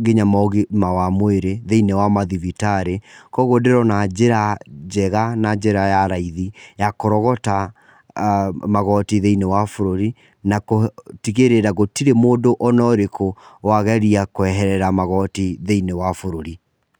nginya ma ũgima wa mwĩrĩ thĩiniĩ wa mathibitarĩ. Kũguo ndĩrona njĩra njega na njĩra ya raithi ya kũrogota magoti thĩini wa bũrũri, na gũtigĩrĩra gũtirĩ mũndũ ona ũrĩkũ wageria kweherera magoti thĩiniĩ wa bũrũri.